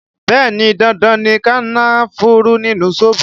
Bẹẹ ni, dandan ni kànnáfùrù nínú zobo